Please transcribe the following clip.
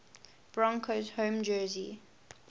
broncos home jersey